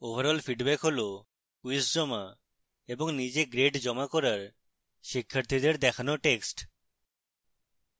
overall feedback হল quiz জমা এবং নিজে graded করার পর শিক্ষার্থীদের দেখানো text